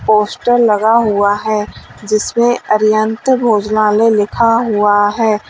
Poster लगा हुआ है जिस में अरिहंत भोजनालय लिखा हुआ है।